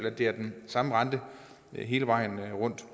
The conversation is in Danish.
at det er den samme rente hele vejen rundt